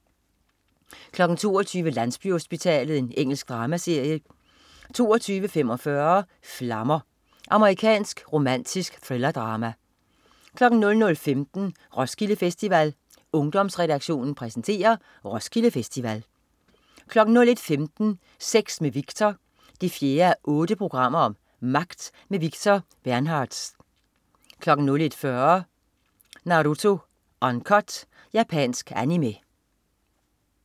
22.00 Landsbyhospitalet. Engelsk dramaserie 22.45 Flammer. Amerikansk romantisk thrillerdrama 00.15 Roskilde Festival. Ungdomsredaktionen præsenterer: Roskilde Festival 01.15 Sex med Victor 4:8. Magt. Victor Bernhardtz 01.40 Naruto Uncut. Japansk Animé